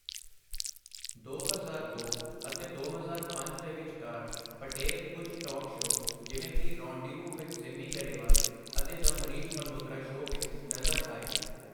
ਦੋ ਹਜ਼ਾਰ ਦੋ ਅਤੇ ਦੋ ਹਜ਼ਾਰ ਪੰਜ ਦੇ ਵਿਚਕਾਰ, ਪਟੇਲ ਕੁੱਝ ਟਾਕ ਸ਼ੋਅ ਜਿਵੇਂ ਕਿ 'ਰੌਨਡਿਵੂ ਵਿਦ ਸਿਮੀ ਗਰੇਵਾਲ' ਅਤੇ 'ਦ ਮਨੀਸ਼ ਮਲਹੋਤਰਾ ਸ਼ੋਅ' ਵਿੱਚ ਨਜ਼ਰ ਆਏ।